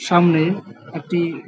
সামনে একটি-ই--